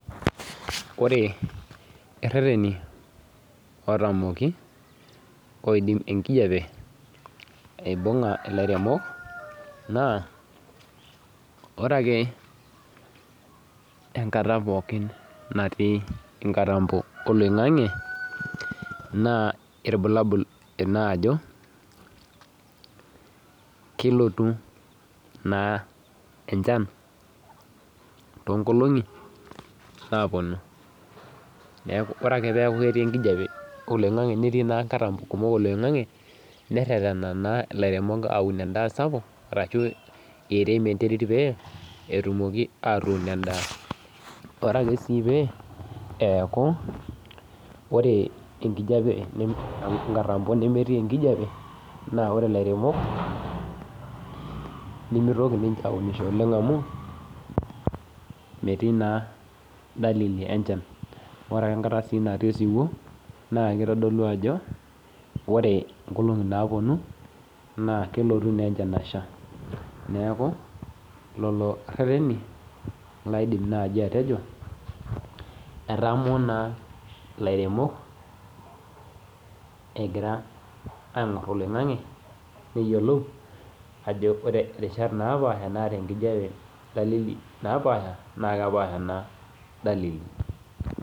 Ore erreteni otamooki oidim enkijape aibung'a ilairemok naa ore ake enkata pookin natii inkatambo oloing'ang'e naa ilbulabul ina ajo kelotu naa enchan toonkolong'i napuonu. Neaku ore ake peaku etii enkijape oloing'ang'e netii naa nkatambo kumok oloing'ang'e nerretena naa ilairemok aaun endaa sapuk arashu eirem enterit pee etumoki atuun endaa. Ore ake sii pee eaku ore enkijape, nkatambo nemetii enkijape naa ore ilairemok nemeitoki ninche aunisho oleng' amu metii naa dalili enchan. Ore ake enkata natii sii osiwuo naakeitodolu ajo ore inkolong'i naapuonu naa kelotu naaenchan asha. Neaku lolo irreteni naidim naji atejo. Etamoo naa ilairemok egira aing'orr oloing'ang'e neyiolou ajo ore rishat napaasha neata enkijape dalili napaasha naakepaasha naa dalili.